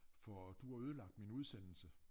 For du har ødelagt min udsendelse